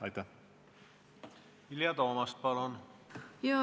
Vilja Toomast, palun!